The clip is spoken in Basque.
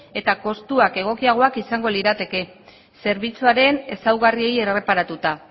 eta kostuak egokiagoak izango lirateke zerbitzuaren ezaugarriei erreparatuta